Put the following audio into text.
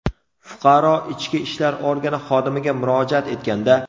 Fuqaro ichki ishlar organi xodimiga murojaat etganda.